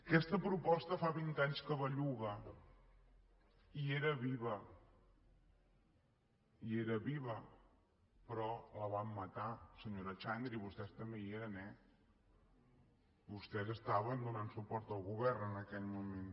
aquesta proposta fa vint anys que belluga i era viva i era viva però la van matar senyora xandri vostès també hi eren eh vostès estaven donant suport al govern en aquell moment